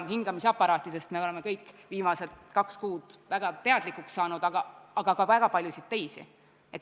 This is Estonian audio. Hingamisaparaatide vajalikkusest me oleme kõik viimase kahe kuu jooksul väga teadlikuks saanud, aga vaja on ka väga paljusid teisi seadmeid.